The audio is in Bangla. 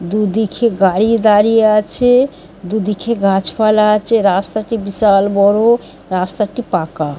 দুদিখে গাড়ি দাঁড়িয়ে আছে-এ দুদিখে গাছপালা আছে রাস্তাটি বিশাল বড়ো রাস্তাটি পাকা ।